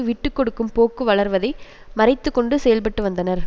விட்டு கொடுக்கும் போக்கு வளர்வதை மறைத்துக்கொண்டு செயல்பட்டுவந்தனர்